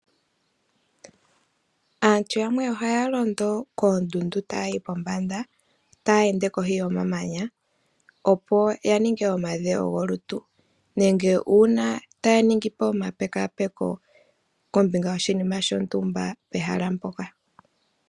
Aantu yamwe ohaya londo koondundu taya yi pombanda taya ende kohi yomamanya opo ya ninge omadhewo golutu nenge opo taya ningi omapekapeko kombinga yoshinima shontumba.